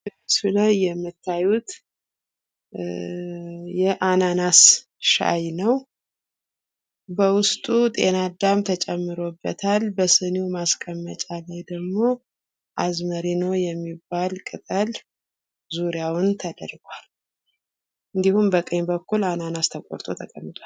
በምስሉ ላይ የምታዩት ኧ የአናናስ ሻይ ነው። በውስጡ ጤናዳም ተጨምሮበታል በሲኒው ማስቀመጫ ላይ ደግሞ አዝሜሪኖ የሚባል ቅጠል ዙሪያውን ተደርጓል። እንዲሁም በቀይ በኩል አናናስ ተቆርጦ ተቀምጠዋል